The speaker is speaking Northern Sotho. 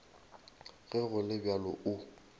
ge go le bjalo o